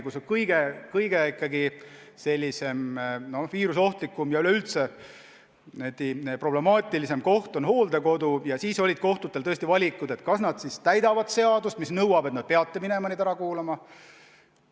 Kui kõige viirusohtlikum ja üleüldse problemaatilisem koht on hooldekodu, siis olid kohtute ees tõesti valikud, kas nad ikka täidavad seadust, mis nõuab, et nad peavad minema kohapeale neid inimesi ära kuulama.